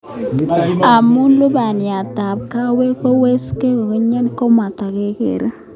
Amu lubaniatab kawek kowekse kokakinya ,komakat kekere